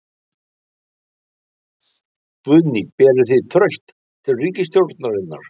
Guðný: Berið þið traust til ríkisstjórnarinnar?